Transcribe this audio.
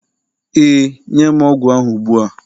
Ee, nye m ogwu ahụ ugbua